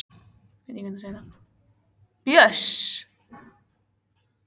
Þessi er ekki nema rúmlega hálffullur.